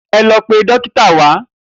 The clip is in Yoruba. E̩ lo̩ pe dókítà wá!